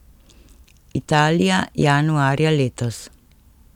Italija, januarja letos.